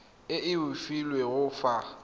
e o e filweng fa